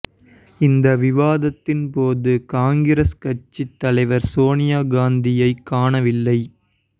இந்த விவாதத்தின் போது காங்கிரஸ் கட்சி தலைவர் சோனியா காந்தியை காணவில்லை